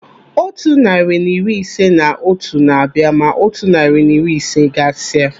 Otu narị na iri ise na otu na-abịa ma otu narị na iri ise gasia.